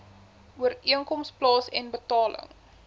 ooreenkoms plaasen betaling